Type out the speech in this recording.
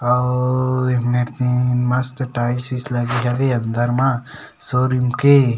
ओ ओ एमे मस्त टाइल्स वाइल्स लगे है अंदर मा शोरूम के --